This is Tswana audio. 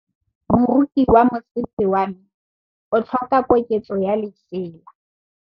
Moroki wa mosese wa me o tlhoka koketsô ya lesela.